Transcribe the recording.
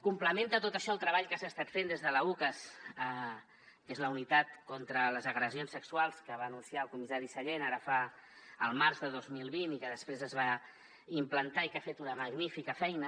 complementa tot això el treball que s’ha estat fent des de l’ucas que és la unitat contra les agressions sexuals que va anunciar el comissari sallent al març de dos mil vint i que després es va implantar i que ha fet una magnífica feina